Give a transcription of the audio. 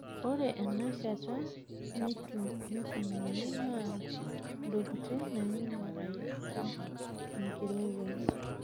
Ore ena shataa neitumiyay enaa entoki naing'urarieki enkirowuaj.